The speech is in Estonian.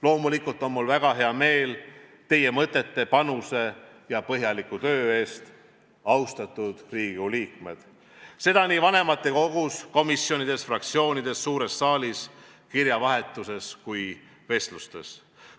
Loomulikult on mul väga hea meel teie mõtete, panuse ja põhjaliku töö eest, austatud Riigikogu liikmed, seda nii vanematekogus, komisjonides, fraktsioonides, suures saalis, kirjavahetuses kui ka vestlustes.